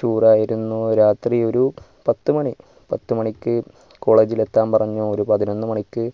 tour ആയിരുന്നു രാത്രി ഒരു പത്തു മണി പത്തു മണിക്ക് college ഇലെത്താൻ പറഞ്ഞു ഒരു പതിനൊന്നു മണിക്ക്